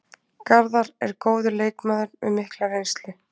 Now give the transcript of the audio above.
Garðar er góður leikmaður með mikla reynslu.